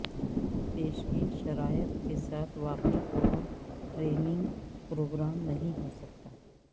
پیشگی شرائط کے ساتھ واقف اور ٹریننگ پروگرام نہیں ہو سکتا